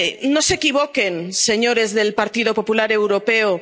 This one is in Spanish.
No se equivoquen, señores del Partido Popular Europeo.